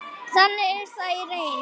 Þannig er það í reynd.